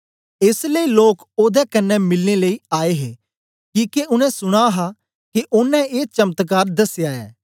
एस लेई लोक ओदे कन्ने मिलनें लेई आए हे किके उनै सुना हा के ओनें ए चमत्कार दसया ऐ